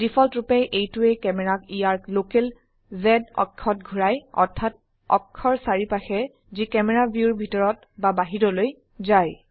ডিফল্টৰুপে এইটোৱে ক্যামেৰাক ইয়াৰ লোকেল Z অক্ষত ঘোৰায় অৰ্থাত অক্ষৰ চাৰিপাশে যি ক্যামেৰা ভিউৰ ভিতৰত বা বাহিৰলৈ যায়